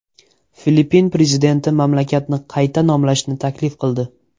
Filippin prezidenti mamlakatni qayta nomlashni taklif qildi.